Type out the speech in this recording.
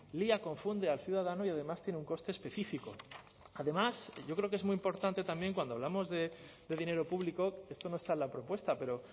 lía confunde al ciudadano y además tiene un coste específico además yo creo que es muy importante también cuando hablamos de dinero público esto no está en la propuesta pero